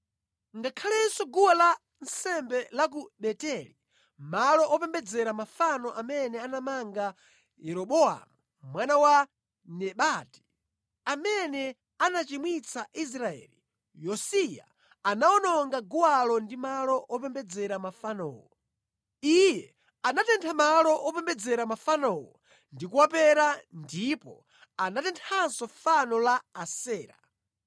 Ngakhalenso guwa lansembe la ku Beteli, malo opembedzera mafano amene anapanga Yeroboamu mwana wa Nebati, amene anachimwitsa Israeli, Yosiya anawononga guwalo ndi malo opembedzera mafanowo. Iye anatentha malo opembedzera mafanowo ndi kuwapera ndipo anatenthanso fano la Asera.